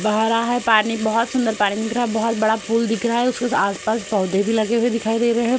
भरा है पानी बोहोत सुंदर पानी दिख रहा है। बोहोत बहो बड़ा पुल दिख रहा है। उसके आस-पास पौधे भी लगे हुए दिखाई दे रहे हैं।